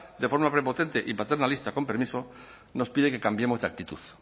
de forma prepotente y paternalista con permiso nos pide que cambiemos de actitud